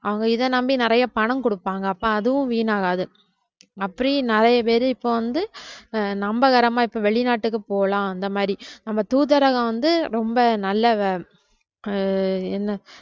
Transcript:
அவங்க இதை நம்பி நிறைய பணம் கொடுப்பாங்க அப்ப அதுவும் வீணாகாது அப்படி நிறைய பேரு இப்ப வந்து ஆஹ் நம்பகரமா இப்ப வெளிநாட்டுக்கு போலாம் அந்த மாதிரி நம்ம தூதரகம் வந்து ரொம்ப நல்ல வ~ ஆஹ் என்ன